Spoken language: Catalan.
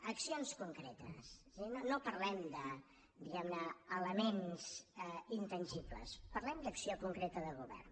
accions concretes és a dir no parlem de diguem ne elements intangibles parlem d’acció concreta de govern